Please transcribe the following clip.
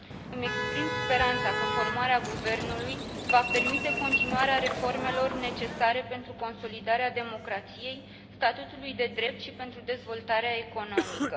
Îmi exprim speranța că formarea guvernului va permite continuarea reformelor necesare pentru consolidarea democrației, a statului de drept și pentru dezvoltarea economică.